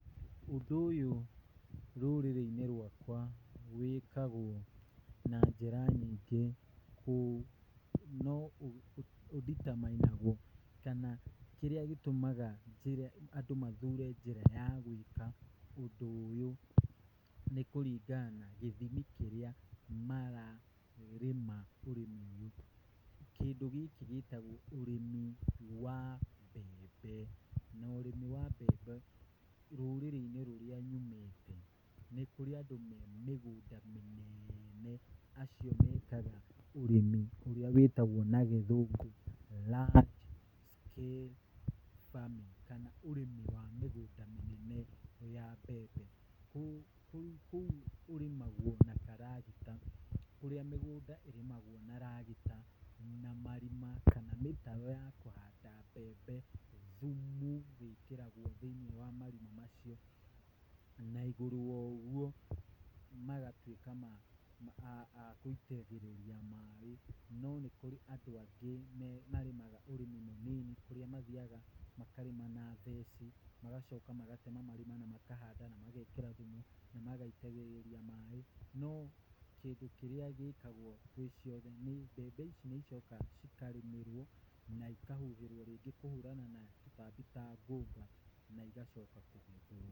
Ũndũ ũyũ rũrĩrĩ-inĩ rwakwa wĩkagũo na njĩra nyingĩ, kũu. No ũ determine -naguo kana kĩrĩa gĩtũmaga andũ mathure njĩra ya gũĩka ũndũ ũyũ, nĩ kũringana na gĩthimi kĩrĩa mararĩma ũrĩmi ũyũ. Kĩndũ gĩkĩ gĩtagwo ũrĩmi wa mbembe. Na ũrĩmi wa mbembe, rũrĩrĩ-inĩ rũrĩa nyumĩte, nĩkũrĩ andũ marĩ mĩgũnda mĩneene, acio mekaga ũrĩmi ũrĩa wĩtagwo na gĩthũngũ large scale farming kana ũrĩmi wa mĩgũnda mĩnene ya mbembe. Kũu ũrĩmagwo na karagita. Ũrĩa mĩgũnda ĩrĩmagwo na kagita na marima kana mĩtaro ya Kũhanda mbembe, thumu wĩkĩragwo thĩinĩ wa marima macio, na igũrũ wa ũguo, magatuĩka magũitagĩrĩria maĩ. No nĩkũrĩ andũ angĩ marĩmaga ũrĩmi mũnini, kũrĩa mathiaga makarĩma na theci, magacoka magatema marima na makahanda, na magekĩra thumu na magaitĩrĩria maĩ. No kĩndũ kĩrĩa gĩkagwo gũĩciothe, nĩ mbembe ici nĩicokaga cikarĩmĩrwo, na ikahuhĩrĩrio ndawa cia tũtambi ta ngũnga.